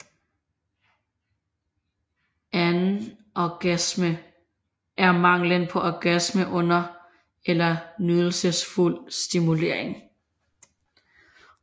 Anorgasme er manglen på orgasme under ellers nydelsesfuld stimulering